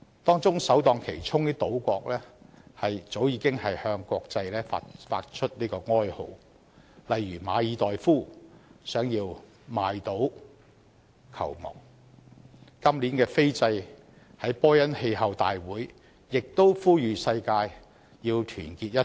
當中首當其衝的島國早已向國際發出哀號，例如馬爾代夫希望買島救亡、今年斐濟在波恩氣候大會亦呼籲世界團結一致。